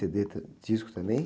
cê-dê tã, discos também?